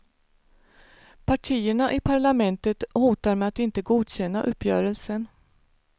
Partierna i parlamentet hotar med att inte godkänna uppgörelsen.